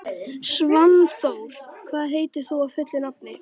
Svanþór, hvað heitir þú fullu nafni?